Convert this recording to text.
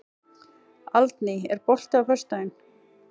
Aldný, er bolti á föstudaginn?